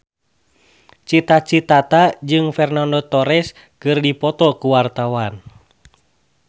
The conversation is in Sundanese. Cita Citata jeung Fernando Torres keur dipoto ku wartawan